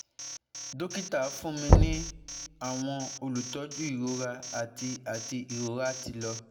dokita fun mi ni awọn olutọju irora ati ati irora ti lọ